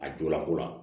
A julako la